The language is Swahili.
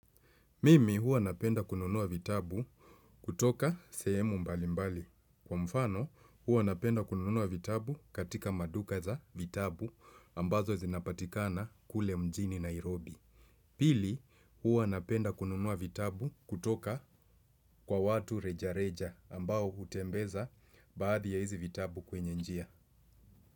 Mimi huwa napenda kununua vitabu kutoka sehemu mbali mbali. Kwa mfano huwa napenda kununuwa vitabu katika maduka za vitabu ambazo zinapatikana kule mjini Nairobi. Pili huwa napenda kununua vitabu kutoka kwa watu reja reja ambao hutembeza baadhi ya hizi vitabu kwenye njia.